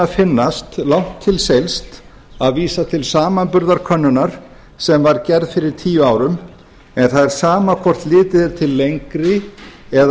finnast langt til seilst að vísa til samanburðarkönnunar sem var gerð fyrir tíu árum en það er sama hvort litið er til lengri eða